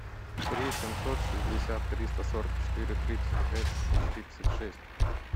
три семьсот шестьдесят триста сорок четыре тридцать пять тридцать шесть